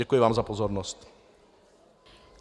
Děkuji vám za pozornost.